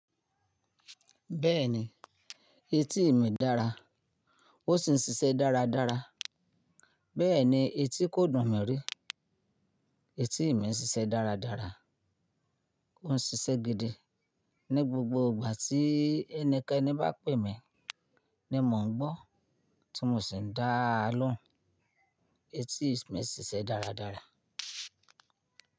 Bẹ́ẹ̀ni, etí mi dára ó sì ń ṣiṣẹ́ dáradára. Bẹ́ẹ̀ni etí kò dùn mi rí, etí mi ń ṣiṣẹ́ dáradára. Ó ń ṣiṣẹ́ gidi ní gbogbo ìgbà tí ẹni Kénì bá pè mí ni mò ń gbọ́ tí mo sì ń dá a lóhùn. Etí mi ń ṣiṣẹ́ dáradára.